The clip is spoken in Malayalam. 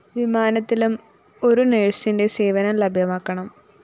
വിമാനത്തിലും ഒരുനേഴ്‌സിന്റെ സേവനം ലഭ്യമാക്കണം